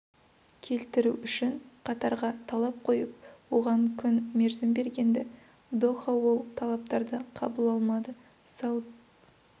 келтіру үшін қатарға талап қойып оған күн мерзім бергенді доха ол талаптарды қабыл алмады сауд